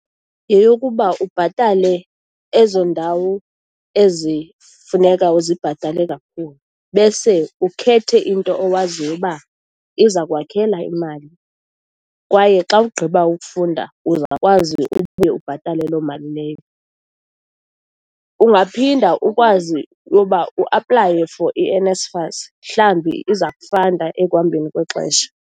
Yeyokuba ubhatale ezo ndawo ezifuneka uzibhatale kakhulu, bese ukhethe into owaziyo uba iza kwakhela imali kwaye xa ugqiba ukufunda uzokwazi ubuye ubhatale loo mali leyo. Ungaphinda ukwazi uba uaplaye for iNSFAS, mhlawumbi iza kufanda ekuhambeni kwexesha.